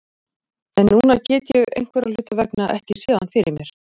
En núna get ég einhverra hluta vegna ekki séð hann fyrir mér.